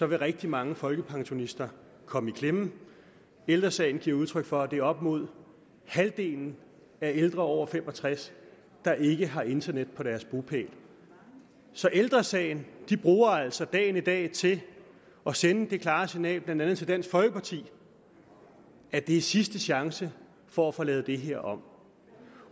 vil rigtig mange folkepensionister komme i klemme ældre sagen giver udtryk for at det er op imod halvdelen af ældre over fem og tres år der ikke har internet på deres bopæl så ældre sagen bruger altså dagen i dag til at sende det klare signal blandt andet til dansk folkeparti at det er sidste chance for at få lavet det her om